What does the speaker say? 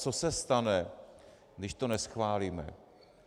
Co se stane, když to neschválíme?